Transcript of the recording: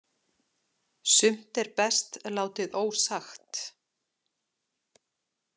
Sumt er best látið ósagt